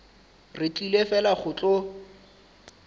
re tlile fela go tlo